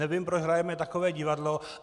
Nevím, proč hrajeme takové divadlo!